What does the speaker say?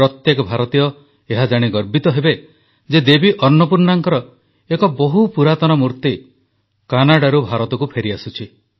ପ୍ରତ୍ୟେକ ଭାରତୀୟ ଏହା ଜାଣି ଗର୍ବିତ ହେବେ ଯେ ଦେବୀ ଅନ୍ନପୂର୍ଣ୍ଣାଙ୍କର ଏକ ବହୁ ପୁରାତନ ମୂର୍ତ୍ତି କାନାଡାରୁ ଭାରତକୁ ଫେରିଆସୁଛି